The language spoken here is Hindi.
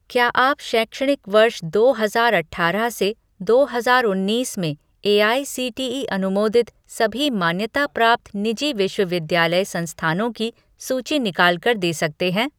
क्या आप शैक्षणिक वर्ष दो हजार अठारह से दो हजार उन्नीस में एआईसीटीई अनुमोदित सभी मान्यता प्राप्त निजी विश्वविद्यालय संस्थानों की सूची निकाल कर दे सकते हैं?